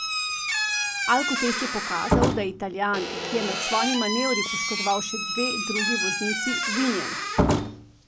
Alkotest je pokazal, da je Italijan, ki je med svojimi manevri poškodoval še dve drugi vozili, vinjen.